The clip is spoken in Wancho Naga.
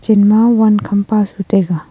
chen ma wan kham pa su taiga.